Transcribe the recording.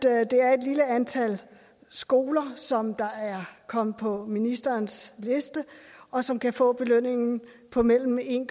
at det er et lille antal skoler som er kommet på ministerens liste og som kan få belønningen på mellem en